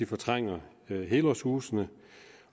fortrænger helårshusene